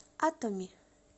атоми